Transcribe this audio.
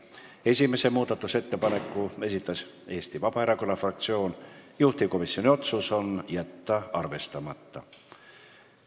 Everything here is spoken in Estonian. Esimese muudatusettepaneku esitas Eesti Vabaerakonna fraktsioon, juhtivkomisjoni otsus: jätta arvestamata.